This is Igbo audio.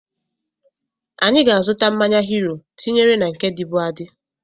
Anyị ga-azuta mmanya Hiro tinyere na nke dịbu adị